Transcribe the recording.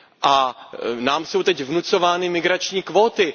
A nám jsou teď vnucovány migrační kvóty.